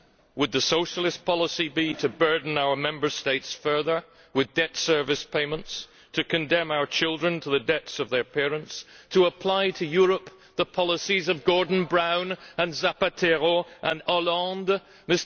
Would the Socialist policy be to further burden our Member States with debt service payments, to condemn our children to the debts of their parents, to apply to Europe the policies of Gordon Brown and Zapatero and Hollande?